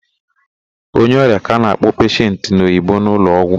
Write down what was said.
Onye ọrịa ka a na-akpọ peshent n'Oyibo n'ụlọgwụ.